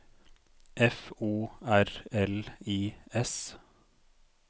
F O R L I S